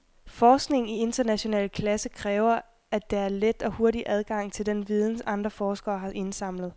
Forskning i international klasse kræver, at der er let og hurtig adgang til den viden, andre forskere har indsamlet.